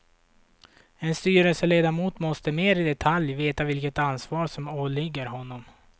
En styrelseledamot måste mer i detalj veta vilket ansvar som åligger honom.